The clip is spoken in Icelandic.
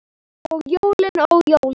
Og jólin, ó jólin!